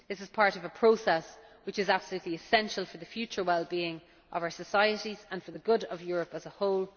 This is part of a process which is absolutely essential for the future well being of our societies and for the good of Europe as a whole.